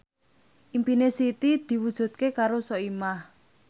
impine Siti diwujudke karo Soimah